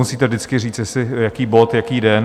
Musíte vždycky říct, jaký bod jaký den.